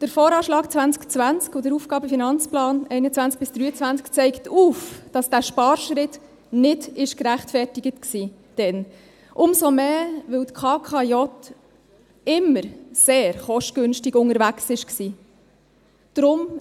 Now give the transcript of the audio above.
Der VA 2020 und der AFP 2021–2023 zeigen auf, dass dieser Sparschritt damals nicht gerechtfertigt war, umso mehr, als die KKJ immer sehr kostengünstig unterwegs war.